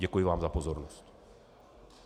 Děkuji vám za pozornost.